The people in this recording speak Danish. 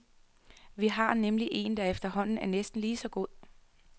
Vi har nemlig en, der efterhånden er næsten lige så god.